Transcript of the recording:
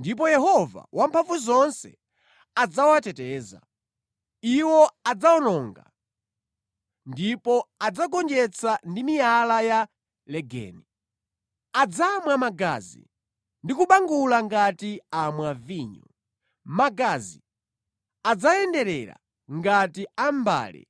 ndipo Yehova Wamphamvuzonse adzawateteza. Iwo adzawononga ndipo adzagonjetsa ndi miyala ya legeni. Adzamwa magazi ndi kubangula ngati amwa vinyo; magazi adzayenderera ngati a mʼmbale